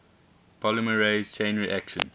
polymerase chain reaction